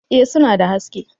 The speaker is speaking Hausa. Eh suna da haske